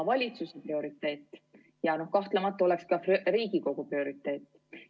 ... valitsuse prioriteet ja kahtlemata ka Riigikogu prioriteet.